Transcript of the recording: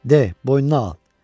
De, boynuna al.